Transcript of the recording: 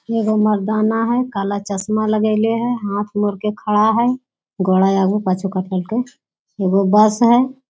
ये वो मर्दाना है काला चस्मा लगयले है हाथ मोड़ के खड़ा है ये वो बस है।